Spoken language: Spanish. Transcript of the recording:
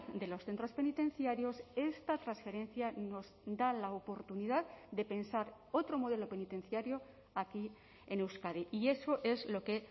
de los centros penitenciarios esta transferencia nos da la oportunidad de pensar otro modelo penitenciario aquí en euskadi y eso es lo que